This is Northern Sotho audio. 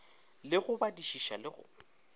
le go badišiša le go